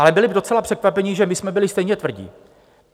Ale byli docela překvapení, že my jsme byli stejně tvrdí.